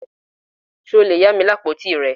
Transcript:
Ṣe o le ya mi ni apotí rẹ?